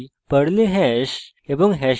পর্লে hash এবং